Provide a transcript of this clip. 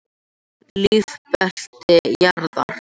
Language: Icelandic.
Lífbelti jarðar.